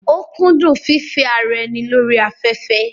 ó kúndún fífẹ́ ara ẹni lórí afẹ́fẹ́